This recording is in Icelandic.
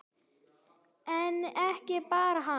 En ekki bara hann.